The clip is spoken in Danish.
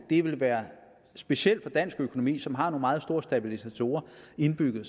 det vil være specielt for dansk økonomi som har nogle meget store stabilisatorer indbygget at